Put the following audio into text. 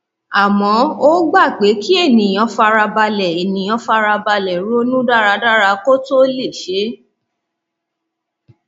àmọ ó gba pé kí ènìyàn fara balẹ ènìyàn fara balẹ ronú dáradára kó tó ó lè ṣe é